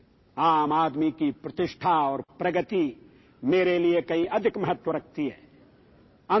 సామాన్యుల అభివృద్ధి గౌరవాలు నాకు అత్యంత ప్రధానమైన అంశాలు